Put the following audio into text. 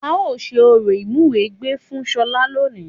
A ó ṣe orò Ìmúwẹgbẹ́ fún ṣọlá lónìí